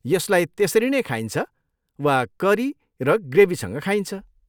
यसलाई त्यसरी नै खाइन्छ वा करी र ग्रेभीसँग खाइन्छ।